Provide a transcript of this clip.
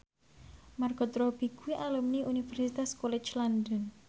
Margot Robbie kuwi alumni Universitas College London